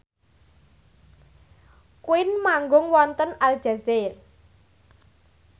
Queen manggung wonten Aljazair